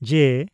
ᱡᱮᱹ